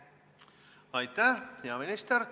Aitäh, hea minister!